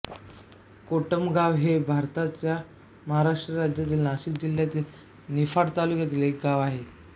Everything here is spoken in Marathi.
कोटमगाव हे भारताच्या महाराष्ट्र राज्यातील नाशिक जिल्ह्यातील निफाड तालुक्यातील एक गाव आहे